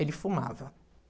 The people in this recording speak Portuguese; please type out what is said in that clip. Ele fumava.